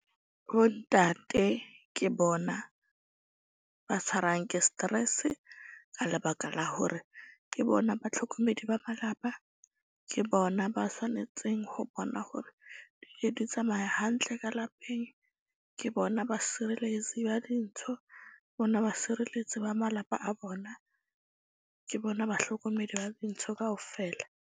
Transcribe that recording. Bo ntate ke bona ba tshwarang ke stress-e ka lebaka la hore ke bona batlhokomedi ba malapa. Ke bona ba tshwanetseng ho bona hore di tsamaya hantle ka lapeng. Ke bona basebeletsi ba dintho, bona basireletsi ba malapa a bona. Ke bona bahlokomedi ba dintho kaofela.